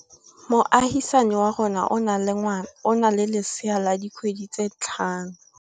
Moagisane wa rona o na le lesea la dikgwedi tse tlhano.